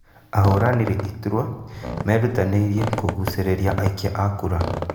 Ahũranĩri iturua merutanĩirie kũgucĩrĩria aikia a kura